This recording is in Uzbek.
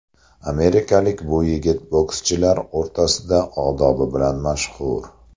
Amerikalik bu yigit bokschilar o‘rtasida odobi bilan mashhur.